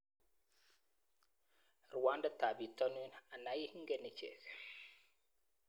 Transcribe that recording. Ruandetab bitonin ana ii ingen ichek?